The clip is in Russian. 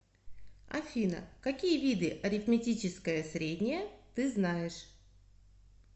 афина какие виды арифметическое среднее ты знаешь